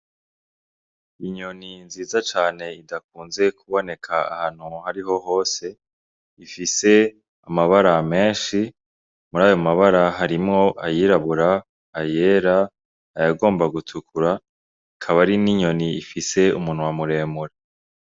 Inyoni nziza cane idakunze kuboneka ahantu ahari ho hose, ifise amabara menshi, mur'ayo mabara harimwo ayirabura, ayera, ayagomba gutukura, akaba ari n'inyoni ifise umunwa muremure.